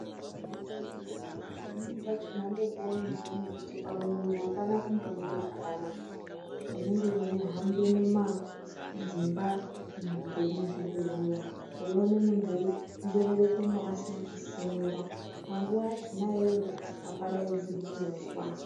Pamweni pachona ndopounozoona kuti pamwiri apana kumbomira zvakanaka. Munenge mweihambe mumadzimba, muzvibhehleya weione muntu einzererekemwo asina kusimira. Panguwa yachoyo iyoyo apadaidzirwi unozwa.